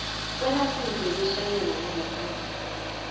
kwelayisense yokutjhayela yangaphandle